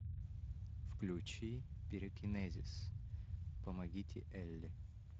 включи пирокинезис помогите элли